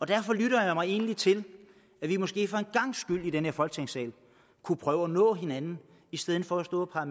derfor lytter jeg mig egentlig til at vi måske for en gangs skyld i den her folketingssal kunne prøve at nå hinanden i stedet for at stå